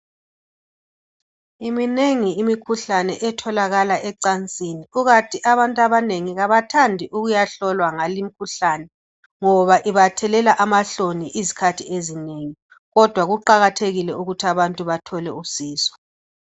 Minengi imikhuhlane etholakala ecansini kukanti abantu abanengi kabathandi ukuyahlollwa ngalimkhuhlane ngoba ibathelela amahloni isikhathi ezinengi kodwa Kuqakathekile ukuthi abantu bathole usizo.